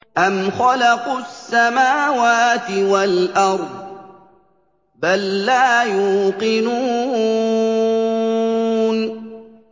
أَمْ خَلَقُوا السَّمَاوَاتِ وَالْأَرْضَ ۚ بَل لَّا يُوقِنُونَ